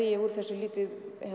ég úr þessu lítið